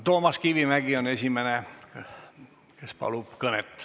Toomas Kivimägi on esimene, kes palub kõnet.